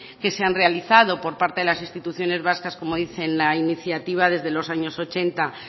que se han realizado por parte de las instituciones vascas como dice en la iniciativa desde los años ochenta